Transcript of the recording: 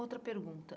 Outra pergunta.